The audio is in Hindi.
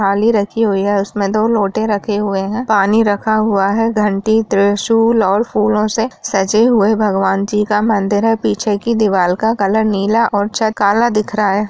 थाली रखी हुई है उसमे दो लोटे रखे हुए है पानी रखा हुआ है घंटी त्रिशूल और फूलों से सजे हुए है भगवान जी का मंदिर है पीछे की दीवाल का कलर नीला और छत काला दिख रहा।